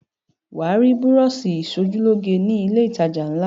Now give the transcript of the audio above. Wà á rí búrọ́ṣì ìṣojúlóge ni ilé-ìtajà ńlá.